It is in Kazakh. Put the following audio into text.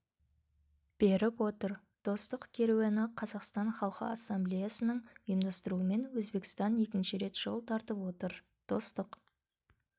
беріп отыр достық керуені қазақстан халқы ассамблеясының ұйымдастыруымен өзбекстанға екінші рет жол тартып отыр достық